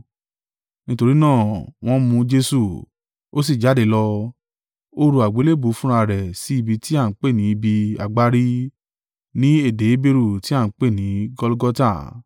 Nítorí náà, wọ́n mú Jesu, ó sì jáde lọ, ó ru àgbélébùú fúnra rẹ̀ sí ibi tí à ń pè ní ibi agbárí, ní èdè Heberu tí à ń pè ní Gọlgọta.